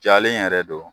Jalen yɛrɛ do